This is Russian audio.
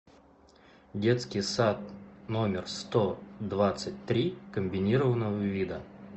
детский сад номер сто двадцать три комбинированного вида